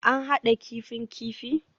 An hada kifin kifi?